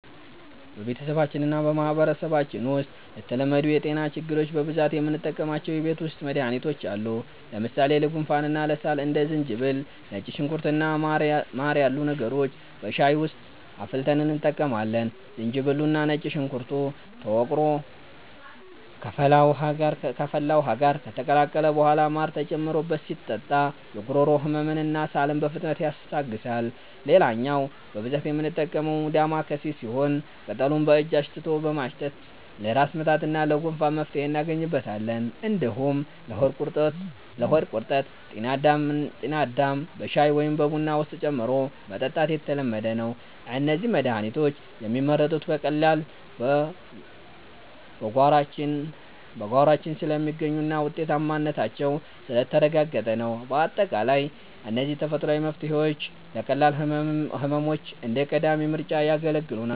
በቤተሰባችንና በማህበረሰባችን ውስጥ ለተለመዱ የጤና ችግሮች በብዛት የምንጠቀማቸው የቤት ውስጥ መድሃኒቶች አሉ። ለምሳሌ ለጉንፋንና ለሳል እንደ ዝንጅብል፣ ነጭ ሽንኩርት እና ማር ያሉ ነገሮችን በሻይ ውስጥ አፍልተን እንጠቀማለን። ዝንጅብሉና ነጭ ሽንኩርቱ ተወቅሮ ከፈላ ውሃ ጋር ከተቀላቀለ በኋላ ማር ተጨምሮበት ሲጠጣ የጉሮሮ ህመምንና ሳልን በፍጥነት ያስታግሳል። ሌላኛው በብዛት የምንጠቀመው 'ዳማከሴ' ሲሆን፣ ቅጠሉን በእጅ አሽቶ በማሽተት ለራስ ምታትና ለጉንፋን መፍትሄ እናገኝበታለን። እንዲሁም ለሆድ ቁርጠት 'ጤናዳም' በሻይ ወይም በቡና ውስጥ ጨምሮ መጠጣት የተለመደ ነው። እነዚህ መድሃኒቶች የሚመረጡት በቀላሉ በጓሯችን ስለሚገኙና ውጤታማነታቸው ስለተረጋገጠ ነው። ባጠቃላይ እነዚህ ተፈጥሯዊ መፍትሄዎች ለቀላል ህመሞች እንደ ቀዳሚ ምርጫ ያገለግሉናል።